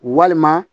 Walima